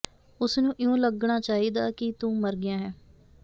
ਉਸ ਨੂੰ ਇਉਂ ਲੱਗਣਾ ਚਾਹੀਦਾ ਕਿ ਤੂੰ ਮਰ ਗਿਆ ਹੈਂ